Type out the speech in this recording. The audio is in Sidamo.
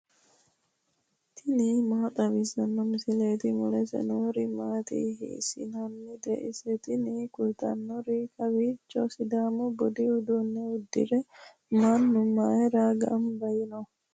tini maa xawissanno misileeti ? mulese noori maati ? hiissinannite ise ? tini kultannori kowiicho sidaamu budu uduunne uddirino manni mayra gamba yiino ?